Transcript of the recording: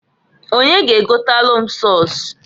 Onye g' egotalụ m sọs?